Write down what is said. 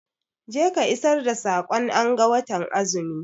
Je ka isar da sakon anga watan azumi!